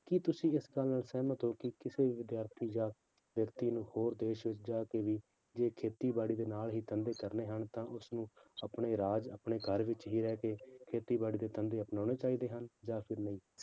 ਕੀ ਤੁਸੀਂ ਇਸ ਗੱਲ ਨਾਲ ਸਹਿਮਤ ਹੋ ਕਿ ਕਿਸੇ ਵਿਦਿਆਰਥੀ ਜਾਂ ਵਿਅਕਤੀ ਨੂੰ ਹੋਰ ਦੇਸ ਵਿੱਚ ਜਾ ਕੇ ਵੀ ਜੇ ਖੇਤੀਬਾੜੀ ਦੇ ਨਾਲ ਹੀ ਧੰਦੇ ਕਰਨੇ ਹਨ ਤਾਂ ਉਸਨੂੰ ਆਪਣੇ ਰਾਜ ਆਪਣੇ ਘਰ ਵਿੱਚ ਹੀ ਰਹਿ ਕੇ ਖੇਤੀਬਾੜੀ ਦੇ ਧੰਦੇ ਅਪਨਾਉਣੇ ਚਾਹੀਦੇ ਹਨ ਜਾਂ ਫਿਰ ਨਹੀਂ।